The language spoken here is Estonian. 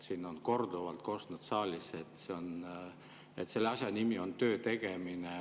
Siin on korduvalt kostnud saalis, et selle asja nimi on töö tegemine.